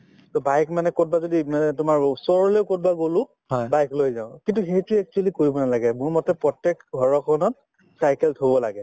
to bike মানে কৰবাত যদি মানে তোমাৰ ওচৰলৈ কৰবালে গলো bike লৈ যাওঁ কিন্তু সেইটো actually কৰিব নালাগে মোৰমতে প্ৰত্যেক ঘৰ এখনত cycle থব লাগে